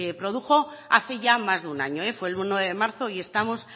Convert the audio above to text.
produjo hace ya más de un año fue el uno de marzo y estamos